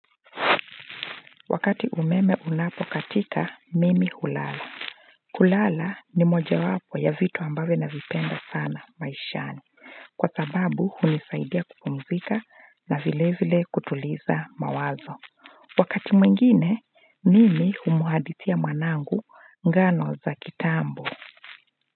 Wakati umeme unapo katika mimi hulala kulala ni moja wapo ya vitu ambavyo navipenda sana maishani. Kwa sababu hunisaidia kupumzika na vile vile kutuliza mawazo wakati mwingine mimi humwadithia mwanangu ngano za kitambo.